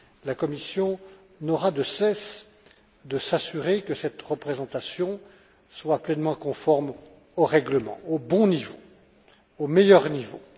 La Commission n'aura de cesse de s'assurer que cette représentation est pleinement conforme au règlement, au meilleur niveau.